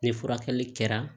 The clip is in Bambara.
Ni furakɛli kɛra